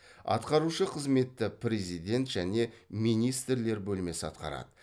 атқарушы қызметті президент және министрлер бөлмесі атқарады